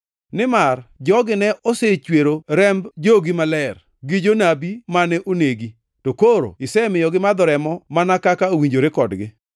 nimar jogi ne osechwero remb jogi maler, gi jonabi mane onegi, to koro isemiyo gimadho remo mana kaka owinjore kodgi.”